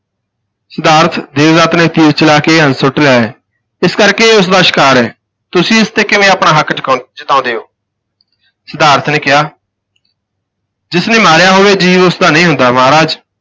ਸਿਧਾਰਥ, ਦੇਵਦੱਤ ਨੇ ਤੀਰ ਚਲਾ ਕੇ ਇਹ ਹੰਸ ਨੇ ਸੁੱਟ ਲਿਆ ਹੈ ਇਸ ਕਰਕੇ ਇਹ ਉਸ ਦਾ ਸ਼ਿਕਾਰ ਹੈ, ਤੁਸੀਂ ਇਸ ਤੇ ਕਿਵੇਂ ਆਪਣਾ ਹੱਕ ਚੁਕਾ ਜਤਾਉਂਦੇ ਹੋ ਸਿਧਾਰਥ ਨੇ ਕਿਹਾ ਜਿਸ ਨੇ ਮਾਰਿਆ ਹੋਵੇ, ਜੀਵ ਉਸ ਦਾ ਨਹੀਂ ਹੁੰਦਾ ਮਹਾਰਾਜ।